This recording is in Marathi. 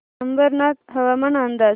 अंबरनाथ हवामान अंदाज